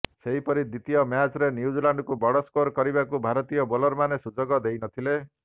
ସେହିପରି ଦ୍ୱିତୀୟ ମ୍ୟାଚ୍ରେ ନ୍ୟୁଜିଲାଣ୍ଡକୁ ବଡ ସ୍କୋର କରିବାକୁ ଭାରତୀୟ ବୋଲରମାନେ ସୁଯୋଗ ଦେଇ ନଥିଲେ